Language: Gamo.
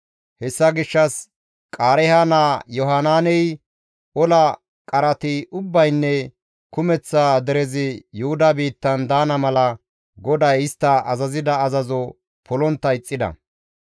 Hessa gishshas Qaareeha naa Yohanaaney ola qarati ubbaynne kumeththa derezi Yuhuda biittan daana mala GODAY istta azazida azazo polontta ixxida.